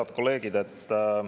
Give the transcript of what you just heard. Head kolleegid!